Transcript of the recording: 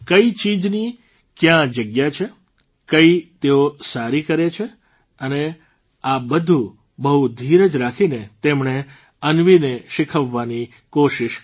કઇ ચીજની ક્યાં જગ્યા છે કઇ તેઓ સારી છે આ બધું બહુ ધીરજ રાખીને તેમણે અન્વીને શીખવવાની કોશીષ કરી